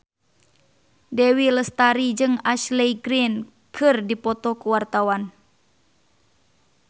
Dewi Lestari jeung Ashley Greene keur dipoto ku wartawan